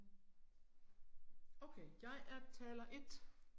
Okay, jeg er taler 1